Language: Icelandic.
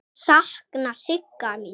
Ég sakna Sigga míns.